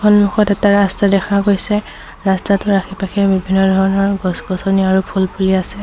সন্মুখত এটা ৰাস্তা দেখা গৈছে ৰাস্তাটোৰ আশে-পাশে বিভিন্ন ধৰণৰ গছ-গছনি আৰু ফুল ফুলি আছে।